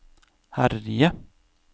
herje